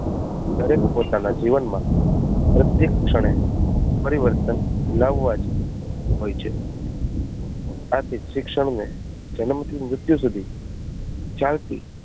દરેક પોતાના જીવનમાં પ્રત્યેક ક્ષણે પરિવર્તન લાવવા જ હોય છે આથી શિક્ષણ ને જન્મ થી મૃત્યુ સુધી ચાલતી